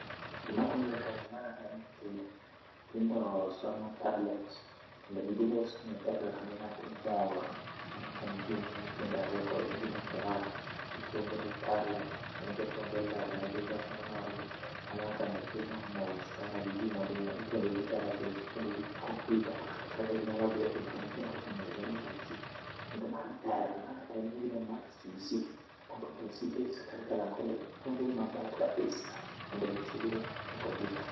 Gimatimre kae ma en nyithindo. Nyithindo somo tablet kendo gibiro somo e tablet kendo nyathi mor. Aneno ka gin gi nyithindo ariyo koro gin e klas, gipuonjre e tablet kendo japuonj olero ne gi wache morogi. Aneno ka nyathino mor sana gi gimodiyono ipuonjogi tarakilishi ipuonjogi kompiuta kaka ginyalo dhiye information technology yaani IT kendo mae ber, ma en gine ma CBC Competency Based Curriculum kendo puonjogi maber kabisa mondo gitiegre e kompiuta